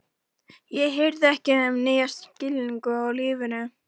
Ég hirði ekki um þennan nýja skilning á lífinu.